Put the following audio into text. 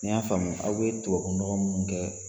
N y'a faamuya aw bi tubabunɔgɔ minnu kɛ